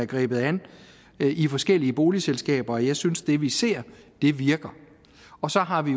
grebet an i forskellige boligselskaber jeg synes at det vi ser virker og så har vi